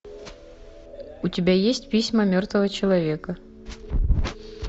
у тебя есть письма мертвого человека